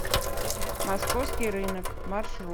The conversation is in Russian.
московский рынок маршрут